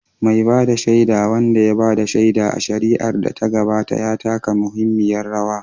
Mai ba da shaida, wanda ya ba da shaida a shari'ar da ta gabata, ya taka muhimmiyar rawa